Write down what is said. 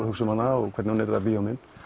hugsa um hana og hvernig hún yrði að bíómynd